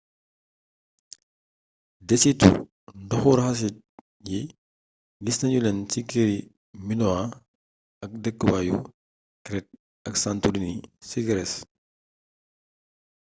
desitu ndoxu raxasit yi gis nanu leen ci këri minoan ay dëkkwaayu crete ak santorini ci grés